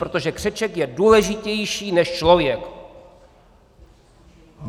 Protože křeček je důležitější než člověk!